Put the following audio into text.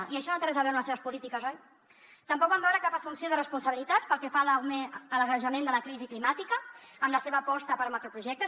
i això no té res a veure amb les seves polítiques oi tampoc vam veure cap assumpció de responsabilitats pel que fa a l’agreujament de la crisi climàtica amb la seva aposta per macroprojectes